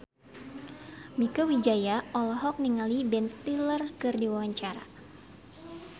Mieke Wijaya olohok ningali Ben Stiller keur diwawancara